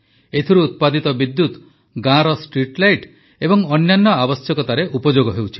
ଏଥିରୁ ଉତ୍ପାଦିତ ବିଦ୍ୟୁତ୍ ଗାଁର ଷ୍ଟ୍ରିଟଲାଇଟ୍ ଏବଂ ଅନ୍ୟାନ୍ୟ ଆବଶ୍ୟକତାରେ ଉପଯୋଗ ହେଉଛି